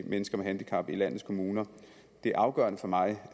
mennesker med handicap i landets kommuner det afgørende for mig